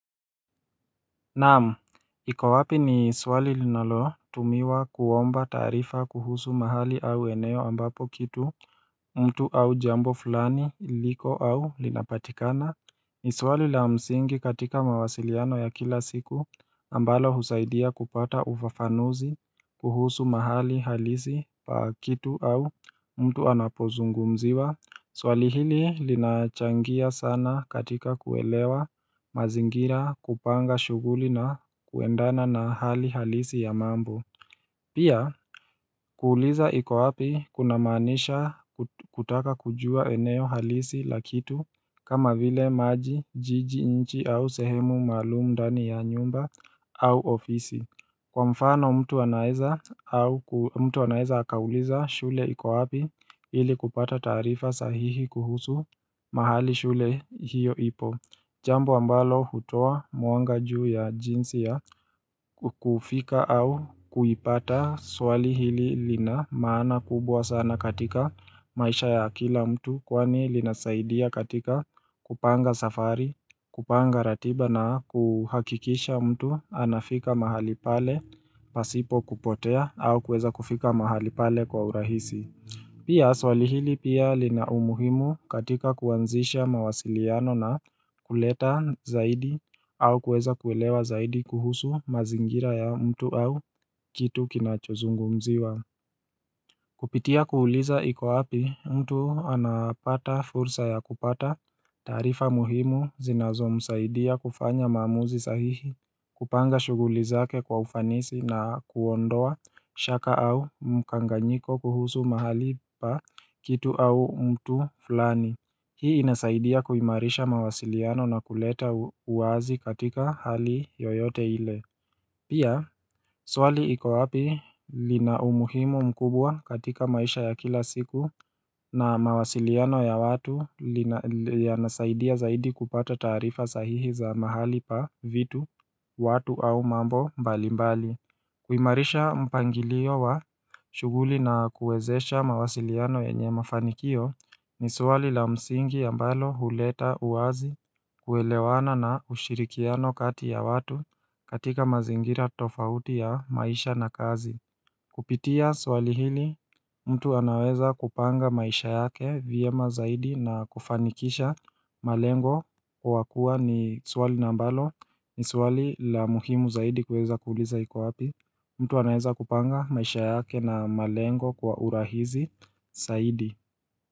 Naam, ikowapi ni swali linalo tumiwa kuomba taarifa kuhusu mahali au eneo ambapo kitu mtu au jambo fulani liliko au linapatikana ni swali la msingi katika mawasiliano ya kila siku ambalo husaidia kupata ufafanuzi kuhusu mahali halisi pa kitu au mtu anapozungumuziwa Swali hili linachangia sana katika kuelewa mazingira kupanga shughuli na kuendana na hali halisi ya mambo Pia kuuliza iko wapi kunamaanisha kutaka kujua eneo halisi la kitu kama vile maji, jiji, nchi au sehemu maluumu ndani ya nyumba au ofisi Kwa mfano mtu anaeza au mtu anaweza akauliza shule iko wapi ili kupata taarifa sahihi kuhusu mahali shule hiyo ipo. Jambo ambalo hutoa mwanga juu ya jinsi ya kufika au kuipata swali hili lina maana kubwa sana katika maisha ya akila mtu kwani linasaidia katika kupanga safari, kupanga ratiba na kuhakikisha mtu anafika mahali pale pasipo kupotea au kuweza kufika mahali pale kwa urahisi Pia swali hili pia lina umuhimu katika kuanzisha mawasiliano na kuleta zaidi au kuweza kuwelewa zaidi kuhusu mazingira ya mtu au kitu kinachozungumziwa Kupitia kuuliza iko wapi mtu anapata fursa ya kupata taarifa muhimu zinazo msaidia kufanya maamuzi sahihi kupanga shughuli zake kwa ufanisi na kuondoa shaka au mkanganyiko kuhusu mahali pa kitu au mtu fulani Hii inasaidia kuimarisha mawasiliano na kuleta uwazi katika hali yoyote ile Pia, swali iko wapi lina umuhimu mkubwa katika maisha ya kila siku na mawasiliano ya watu yanasaidia zaidi kupata taarifa sahihi za mahali pa vitu, watu au mambo mbali mbali kuimarisha mpangilio wa shughuli na kuezesha mawasiliano yenye mafanikio ni swali la msingi ambalo huleta uwazi kuelewana na ushirikiano kati ya watu katika mazingira tofauti ya maisha na kazi Kupitia swali hili mtu anaweza kupanga maisha yake vyema zaidi na kufanikisha malengo kwa kuwa ni swali na mbalo ni swali la muhimu zaidi kuweza kuuliza iko wapi mtu anaweza kupanga maisha yake na malengo kwa urahisi zaidi.